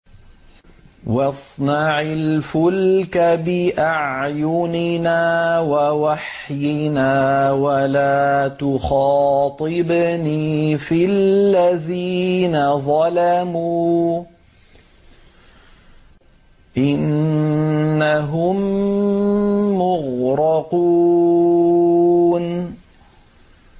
وَاصْنَعِ الْفُلْكَ بِأَعْيُنِنَا وَوَحْيِنَا وَلَا تُخَاطِبْنِي فِي الَّذِينَ ظَلَمُوا ۚ إِنَّهُم مُّغْرَقُونَ